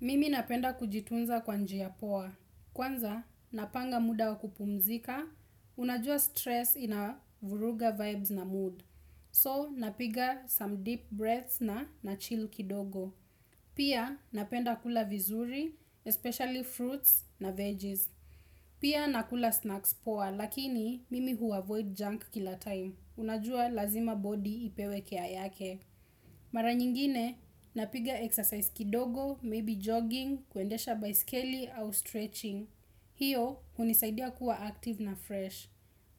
Mimi napenda kujitunza kwa njia poa. Kwanza, napanga muda wa kupumzika. Unajua stress inavuruga vibes na mood. So, napiga some deep breaths na nachilL kidogo. Pia, napenda kula vizuri, especially fruits na veggies. Pia, nakula snacks poa, lakini mimi huavoid junk kila time. Unajua lazima body ipewe care yake. Mara nyingine, napiga exercise kidogo, maybe jogging, kuendesha baiskeli au stretching. Hiyo, hunisaidia kuwa active na fresh.